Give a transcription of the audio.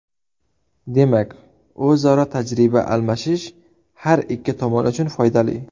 Demak, o‘zaro tajriba almashish har ikki tomon uchun foydali.